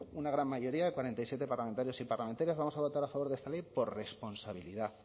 una gran mayoría de cuarenta y siete parlamentarios y parlamentarias vamos a votar a favor de esta ley por responsabilidad